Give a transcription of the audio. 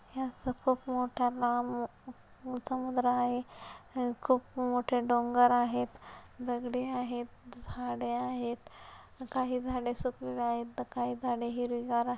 ह्याचं खूप मोठा लांब समुद्र आहे अह खूप मोठे डोंगर आहेत दगडे आहेत झाडे आहेत काही झाडे सुकलेले आहेत तर काही झाडे हिरवीगार--